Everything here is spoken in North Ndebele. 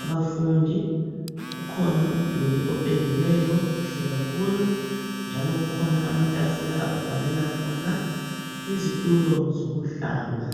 abafundi, kukhona umduli opendiweyo, kuhle kakhulu, kukhona amatafula ababhalela khona. Kulezitulo zokuhlala.